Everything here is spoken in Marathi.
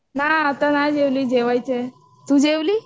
नाही आता नाही जेवली जेवायची आहे. तू जेवली?